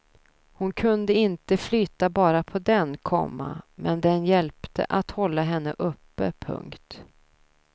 Hon kunde inte flyta bara på den, komma men den hjälpte att hålla henne uppe. punkt